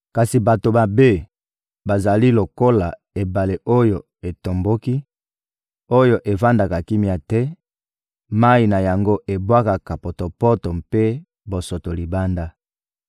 Kasi bato mabe bazali lokola ebale oyo etomboki, oyo evandaka kimia te: mayi na yango ebwakaka potopoto mpe bosoto libanda.